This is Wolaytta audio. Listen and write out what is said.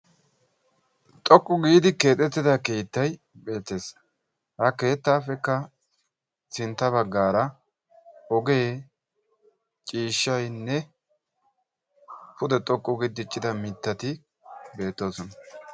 xoqqu giidi keexettida keettay beetees, ha keettay beetees, ha keettaappekka sintta bagaara ogee, ciishaynne pude xoqqu gidi diccida mittati beetoosona.